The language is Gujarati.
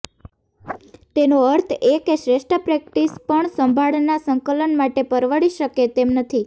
તેનો અર્થ એ કે શ્રેષ્ઠ પ્રેક્ટીસ પણ સંભાળના સંકલન માટે પરવડી શકે તેમ નથી